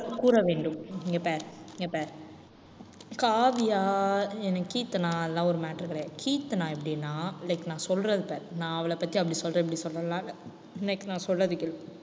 கூற வேண்டும் இங்க பாரு இங்க பாரு காவியா அஹ் கீர்த்தனா அதெல்லாம் ஒரு matter கிடையாது. கீர்த்தனா எப்படின்னா like நான் சொல்றத பாரு நான் அவளை பத்தி அப்படி சொல்றேன், இப்படி சொல்றேன் எல்லாம் இல்லை இன்னைக்கு நான் சொல்றதை கேளு